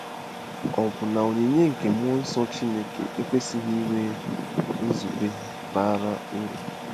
Ọ̀ bụ na onyinye nke mmụọ nsọ Chineke ekwesịghị inwe nzube bara uru? ”